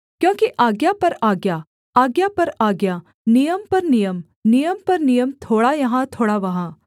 क्योंकि आज्ञा पर आज्ञा आज्ञा पर आज्ञा नियम पर नियम नियम पर नियम थोड़ा यहाँ थोड़ा वहाँ